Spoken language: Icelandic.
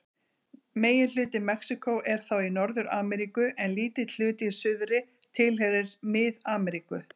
Megin hluti Mexíkó er þá í Norður-Ameríku en lítill hluti í suðri tilheyrir Mið-Ameríku.